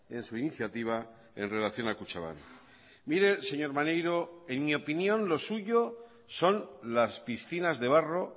en su iniciativa en relación a kutxabank mire señor maneiro en mi opinión lo suyo son las piscinas de barro